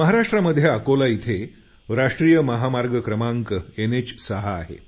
महाराष्ट्रामध्ये अकोला इथे राष्ट्रीय महामार्ग क्रमांक एनएच 6 आहे